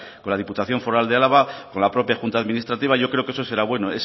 con la diputación foral de álava con la propia junta administrativa yo creo que eso será bueno